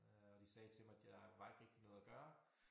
Øh og de sagde til mig der var ikke rigtig noget at gøre